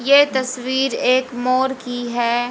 यह तस्वीर एक मोर की है।